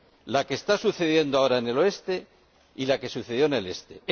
La que está sucediendo ahora en el oeste y la que sucedió en el este.